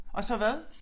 Og så hvad